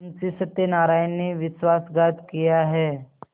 मुंशी सत्यनारायण ने विश्वासघात किया है